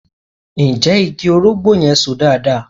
Ǹjẹ́ igi orógbó yẹn So dáadáa?